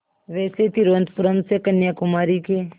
वैसे तिरुवनंतपुरम से कन्याकुमारी के